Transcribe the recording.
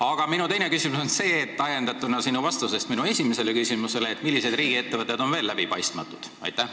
Aga minu teine küsimus on ajendatud sinu vastusest minu esimesele küsimusele: millised riigiettevõtted on veel läbipaistmatud?